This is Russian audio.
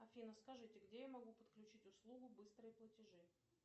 афина скажите где я могу подключить услугу быстрые платежи